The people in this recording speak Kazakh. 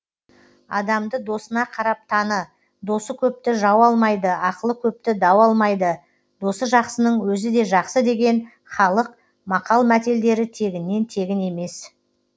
адамды досына қарап таны досы көпті жау алмайды ақылы көпті дау алмайды досы жақсының өзі де жақсы деген халық мақал мәтелдері тегіннен тегін емес